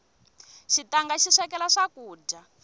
xitanga xi swekela swakudya